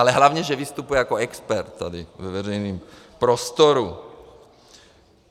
Ale hlavně že vystupuje jako expert tady ve veřejném prostoru.